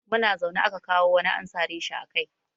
Muna zaune aka kawo wani an sare shi a kai.